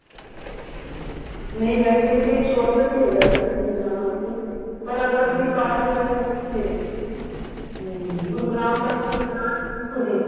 ਨਹੀਂ ਵੈਸੇ ਤੇ short cut ਵੀ ਹੈਗਾ ਅਗ਼ਰ ਅਸੀਂ ਜਾਣਾ ਹੋਵੇ ਤੇ ਪਰ ਅਗ਼ਰ ਆਪਣੀ ਕਰ ਵਗੇਰਾ ਨਾ ਹੋਵੇ ਫ਼ਿਰ ਗੁਰੂ ਰਾਮਦਾਸ ਜ਼ੀ ਦੀ ਸਰਾਂ ਏ